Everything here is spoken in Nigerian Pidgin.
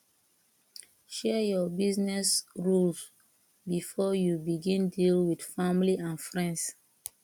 share your business rules before you begin deal with family and friends